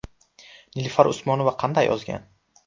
Nilufar Usmonova qanday ozgan?